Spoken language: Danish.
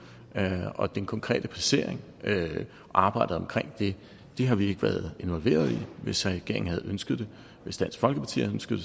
den konkrete placering og arbejdet omkring det har vi ikke været involveret i hvis regeringen havde ønsket det hvis dansk folkeparti havde ønsket